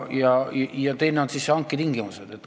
Ja teine asi on hanke tingimused.